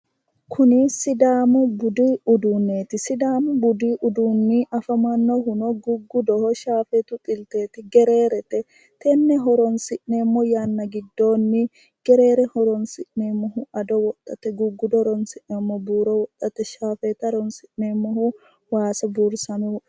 Kunni sidaamu budi uduuneeti sidaamu budi uduunni afamanohuno guggudoho shaafeetu xilteeti gereerete tenne horoonsi'neemo yanna gidoonni gereere horoonsi'neemohu addo wodhate guggudo horoonsi'neemohu buuro wodhate shaafeete horoonsi'neemohu waasu buurissame wodhateti.